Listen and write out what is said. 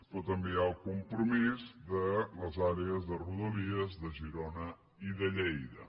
però també hi ha el compromís de les àrees de rodalies de girona i de lleida